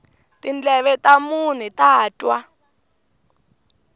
tindleve ta munhu ta twa